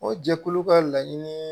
O jɛkulu ka laɲini